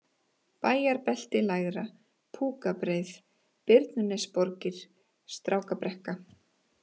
Bæjarbelti lægra, Púkabreið, Birnunesborgir, Strákabrekka